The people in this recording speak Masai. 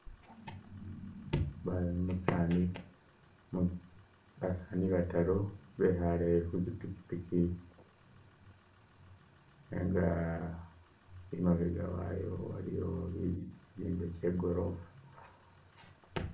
Mayi, umusaani, basaani bataaru bekhaye khu tsi pikyipikyi nenga imabega wayo waliyo tsiitsu tse korofwa.